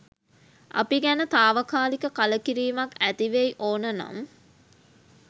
අපි ගැන තාවකාලික කලකිරීමක් ඇතිවෙයි ඕන නම්